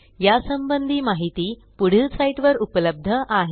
या संबंधी माहिती पुढील साईटवर उपलब्ध आहे